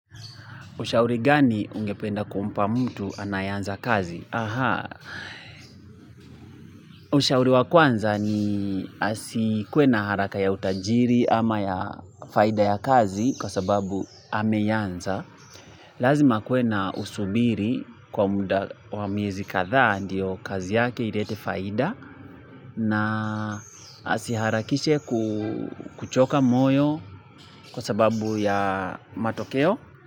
Ushauri gani ungependa kumpa mtu anayeanza kazi? Ushauri wa kwanza ni asikuwena haraka ya utajiri ama ya faida ya kazi kwa sababu ameianza. Lazima akue na usubiri kwa muda wa miezi kadhaa ndiyo kazi yake ilete faida na asiharakishe kuchoka moyo kwa sababu ya matokeo.